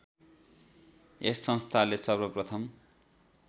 यस संस्थाले सर्वप्रथम